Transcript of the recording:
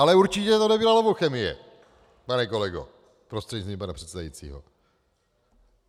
Ale určitě to nebyla Lovochemie, pane kolego prostřednictvím pana předsedajícího.